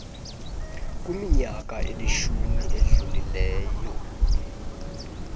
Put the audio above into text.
kwiminyaka elishumi edlulileyo